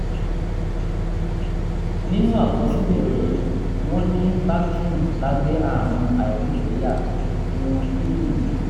nínú àkọsílẹ̀ rẹ̀ wọ́n ní bactrim lábẹ́ ààrùn àìrígbẹyà irun kíndìnrín